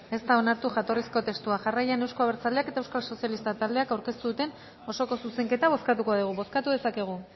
ez da onartu jatorrizko testua jarraian euzko abertzaleak eta euskal sozialista taldeak aurkeztu duten osoko zuzenketa bozkatuko dugu bozkatu dezakegu